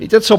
Víte co?